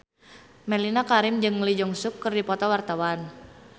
Mellisa Karim jeung Lee Jeong Suk keur dipoto ku wartawan